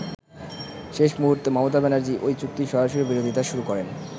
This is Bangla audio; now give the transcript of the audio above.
শেষ মুহুর্তে মমতা ব্যানার্জী ওই চুক্তির সরাসরি বিরোধিতা শুরু করেন।